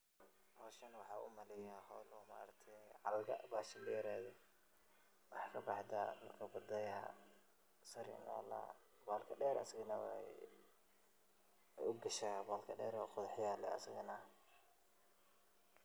Howshan waxaan umaleyaa howl oo maaragte caloosha bahashi dereed. Waxey kabaxdaa badayaha sare maxaaladaha bahalka deer asagane wey ugashaa bolka deer oo qodhax yaha leh asagana.